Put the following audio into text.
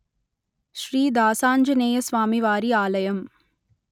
శ్రీ దాసాంజనేయస్వామివారి ఆలయం